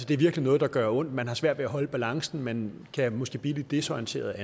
det er virkelig noget der gør ondt man har svært ved at holde balancen og man kan måske blive lidt desorienteret